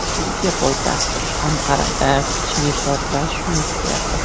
Turkiya poytaxti Anqarada kuchli portlash yuz berdi.